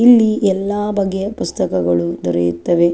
ಇಲ್ಲಿ ಎಲ್ಲ ಬಗೆಯ ಪುಸ್ತಕಗಳು ದೊರೆಯುತ್ತವೆ .